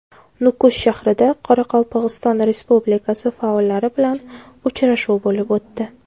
Nukus shahrida Qoraqalpog‘iston Respublikasi faollari bilan uchrashuv bo‘lib o‘tdi.